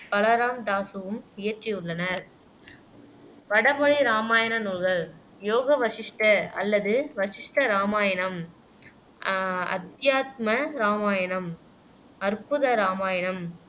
பலராம்தாசுவும் இயற்றியுள்ளனர் வடமொழி இராமாயண நூல்கள் யோக வசிஷ்ட அல்லது வசிஷ்ட இராமாயணம் அஹ் அத்யாத்ம இராமாயணம், அற்புத இராமாயணம்